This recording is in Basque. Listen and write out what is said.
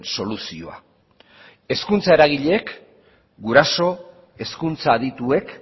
soluzioa hezkuntza eragileek guraso hezkuntza adituek